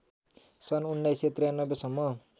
सन् १९९३ सम्म